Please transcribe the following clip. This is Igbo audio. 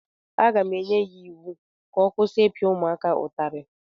Aga m enye ya iwu ka ọ kwụsị ịpịa ụmụaka ụtarị!